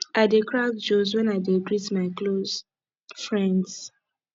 i dey crack joke wen i dey greet my close friends